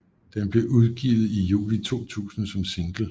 Den blev udgivet i juli 2000 som single